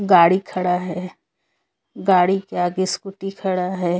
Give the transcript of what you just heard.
गाड़ी खड़ा है गाड़ी के आगे स्कूटी खड़ा है।